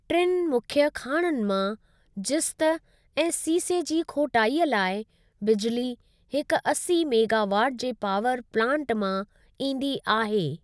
टिनि मुख्य खाणनि मां जिस्त ऐं सीसे जी खोटाइअ लाइ बिजली हिक अस्सी मेगावाट जे पावर प्लांट मां ईंदी आहे।